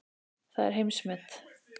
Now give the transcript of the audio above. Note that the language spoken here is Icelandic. Það er heimsmet.